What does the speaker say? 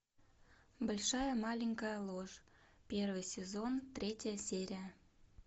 большая маленькая ложь первый сезон третья серия